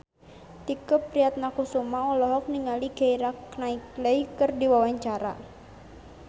Tike Priatnakusuma olohok ningali Keira Knightley keur diwawancara